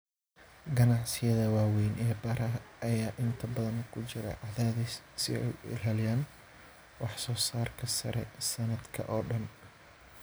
Ganacsiyada waaweyn ee beeraha ayaa inta badan ku jira cadaadis si ay u ilaaliyaan wax soo saarka sare sanadka oo dhan.